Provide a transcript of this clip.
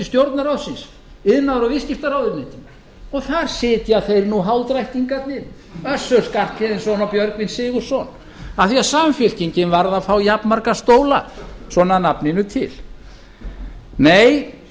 stjórnarráðsins iðnaðar og viðskiptaráðuneytinu og þar sitja þeir nú hálfdrættingarnir össur skarphéðinsson og björgvin sigurðsson af því að samfylkingin varð að fá jafnmarga stóla svona að nafninu til og